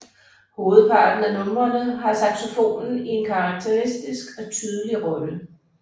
Hovedparten af numrene har saxofonen i en karakteristisk og tydelig rolle